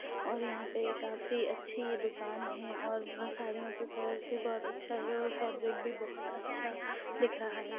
और यहाँ पे काफी अच्छी दुकान है और साड़ियों के कलर्स भी बहुत अच्छा है और फैब्रिक भी बहुत अच्छा दिख रहा है।